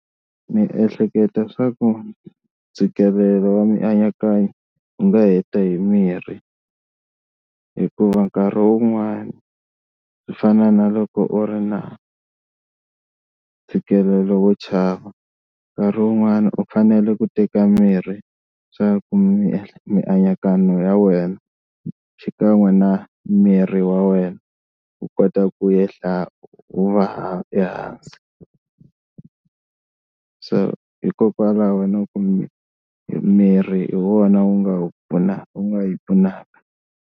Ni ehleketa swa ku ntshikelelo wa mianakanyo wu nga heta hi mirhi hikuva nkarhi wun'wani swi fana na loko u ri na ntshikelelo wo chava, nkarhi wun'wani u fanele ku teka mirhi swa ku mianakanyo ya wena xikan'we na miri wa wena wu kota ku ehla wu va ha ehansi, so hikokwalaho na ku mi mirhi hi wona wu nga wu pfuna u nga yi pfunaka.